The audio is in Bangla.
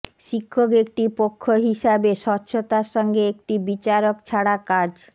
শিক্ষক একটি পক্ষ হিসাবে স্বচ্ছতার সঙ্গে একটি বিচারক ছাড়া কাজ